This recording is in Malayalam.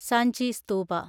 സാഞ്ചി സ്ഥൂപ